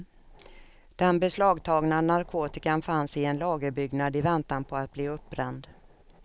Den beslagtagna narkotikan fanns i en lagerbyggnad i väntan på att bli uppbränd.